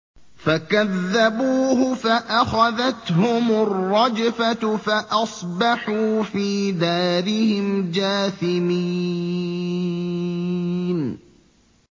فَكَذَّبُوهُ فَأَخَذَتْهُمُ الرَّجْفَةُ فَأَصْبَحُوا فِي دَارِهِمْ جَاثِمِينَ